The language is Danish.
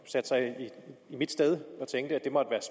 satte sig i mit sted og tænkte